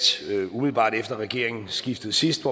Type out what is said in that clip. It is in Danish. umiddelbart efter regeringsskiftet sidst